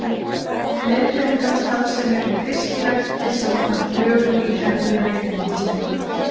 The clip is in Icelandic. Leiðbeiningarstarfsemi um fiskirækt er samkvæmt lögum í hendi veiðimálastjóra.